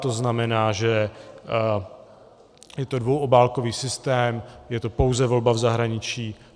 To znamená, že je to dvouobálkový systém, je to pouze volba v zahraničí.